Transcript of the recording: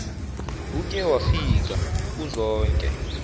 uke wafika uzonke